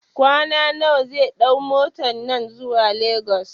kwana nawa zai ɗau motan nan zuwa Lagos?